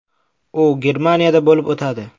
U Germaniyada bo‘lib o‘tadi.